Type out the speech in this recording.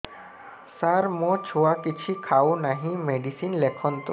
ସାର ମୋ ଛୁଆ କିଛି ଖାଉ ନାହିଁ ମେଡିସିନ ଲେଖନ୍ତୁ